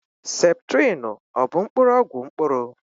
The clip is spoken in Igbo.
Septrịnụ ọ bụ mkpụrụ ọgwụ mkpụrụ?